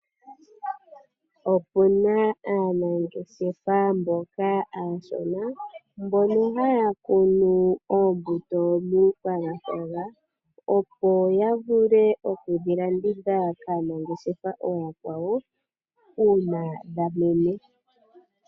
Opuna aanangeshefa mboka aashona, mbono haya kunu oombuto muuthaganyana, yo ya vule okudhi landitha kaanangeshefa aakwawo uuna dhamene.